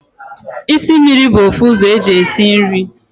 Isi mmiri bu ofu uzo eji esi nri